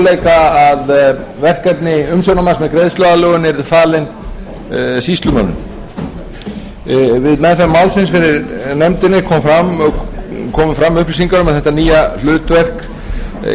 möguleika að verkefni umsjónarmanns með greiðsluaðlögun yrðu falin súýlsumönnum við meðferð málsins fyrir nefndinni komu fram upplýsingar um að þetta nýja hlutverk